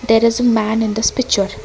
there is a man in this picture.